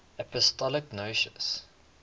apostolic nuncios